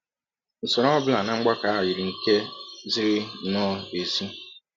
Usọrọ ọ bụla na mgbakọ ahụ yiri nke ziri nnọọ ezi..